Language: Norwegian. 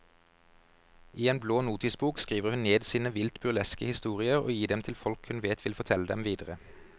I en blå notisbok skriver hun ned sine vilt burleske historier og gir dem til folk hun vet vil fortelle dem videre.